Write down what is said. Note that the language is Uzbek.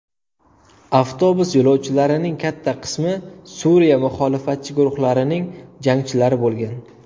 Avtobus yo‘lovchilarining katta qismi Suriya muxolifatchi guruhlarining jangchilari bo‘lgan.